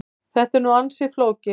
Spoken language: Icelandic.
Þetta er nú ansi flókið.